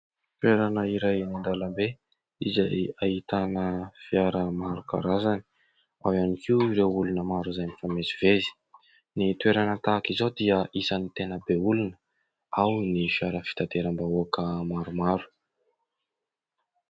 Toerana iray eny an-dalambe izay ahitana fiara maro karazany, ao ihany koa ireo olona maro izay mifamezivezy. Ny toerana tahak'izao dia isan'ny tena be olona, ao ny fiara fitateram-bahoaka maromaro.